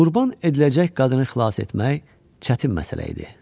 Qurban ediləcək qadını xilas etmək çətin məsələ idi.